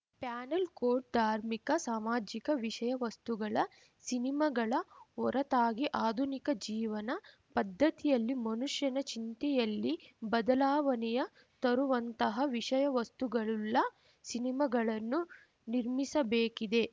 panel coat ಧಾರ್ಮಿಕ ಸಾಮಾಜಿಕ ವಿಷಯ ವಸ್ತುಗಳ ಸಿನಿಮಾಗಳ ಹೊರತಾಗಿ ಆಧುನಿಕ ಜೀವನ ಪದ್ಧತಿಯಲ್ಲಿ ಮನುಷ್ಯನ ಚಿಂತನೆಯಲ್ಲಿ ಬದಲಾವಣೆಯ ತರುವಂತಹ ವಿಷಯ ವಸ್ತುಗಳುಳ್ಳ ಸಿನಿಮಾಗಳನ್ನು ನಿರ್ಮಿಸಬೇಕಿದೆ